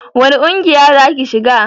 wani ƙungiya za ki shiga?